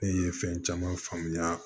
Ne ye fɛn caman faamuya